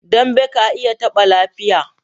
Dambe ka iya taɓa lafiya.